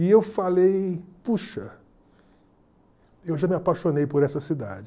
E eu falei, puxa, eu já me apaixonei por essa cidade.